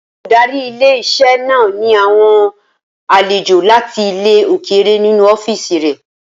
Olùdarí ilé-iṣẹ́ náà ní àwọn àlejò láti ilẹ̀ òkèrè nínu ọ́fìsì rẹ̀